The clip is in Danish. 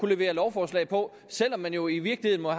levere lovforslag på selv om man jo i virkeligheden må